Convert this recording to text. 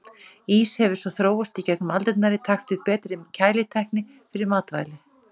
Ís hefur svo þróast í gegnum aldirnar í takt við betri kælitækni fyrir matvæli.